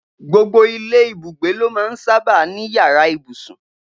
Gbogbo ilé ibùgbé ló máa ń sábà ní yàrá ibùsùn